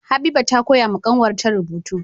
Habiba ta koya wa kanwar ta rubutu